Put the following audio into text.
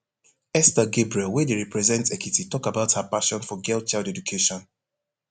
esther gabriel wey dey represent ekiti tok about her passion for girl child education